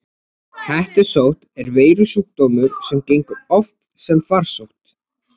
Hettusótt er veirusjúkdómur sem gengur oft sem farsótt.